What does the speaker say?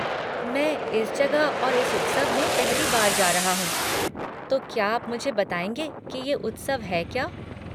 मैं इस जगह और इस उत्सव में पहली बार जा रहा हूँ तो क्या आप मुझे बताएँगे कि ये उत्सव है क्या?